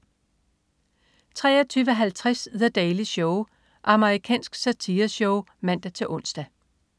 23.50 The Daily Show. Amerikansk satireshow (man-ons)